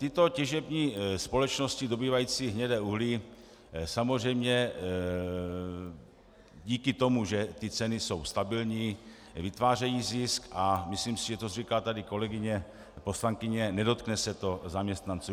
Tyto těžební společnosti dobývající hnědé uhlí samozřejmě díky tomu, že ty ceny jsou stabilní, vytvářejí zisk a myslím si, že to říká tady kolegyně poslankyně, nedotkne se to zaměstnanců.